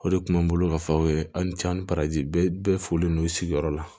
O de kun bɛ n bolo ka fɔ aw ye aw ni can ni paraji bɛɛ bɛɛ folen no sigiyɔrɔ la